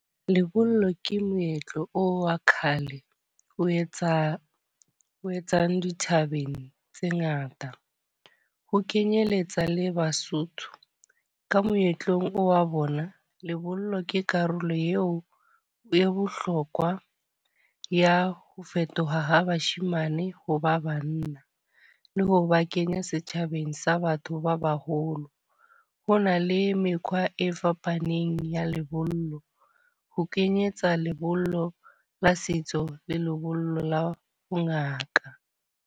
Lebollo ke moetlo o wa kgale. O etsa, o etsang dithabeng tse ngata. Ho kenyeletsa le Basotho ka moetlong wa bona. Lebollo ke karolo eo o e bohlokwa ya ho fetoha ha bashemane ho ba banna. Le ho ba kenya setjhabeng sa batho ba baholo. Ho na le mekgwa e fapaneng ya lebollo, ho kenyetsa lebollo la setso le lebollo la bo ngaka.